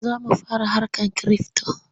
Za mu fara harkar kirifto.